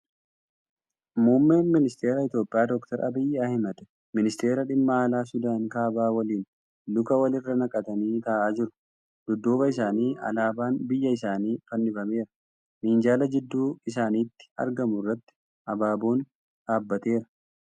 Muummeen Ministara Itiyoophiyaa Dr. Abiyyi Ahmad ministeera dhimma alaa Suudaan kaabaa waliin luka wal irra naqatanii taa'aa jiru. Dudduuba isaanitti alaabaan biyya isaanii fannifameera. Minjaala jidduu isaanitti argamu irratti abaaboon dhaabbateera.